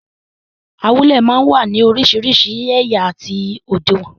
Awúlẹ̀ máa ń wá ní orísìírísìí ẹ̀yà àti òdiwọ̀n.